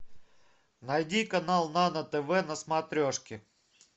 найди канал нано тв на смотрешке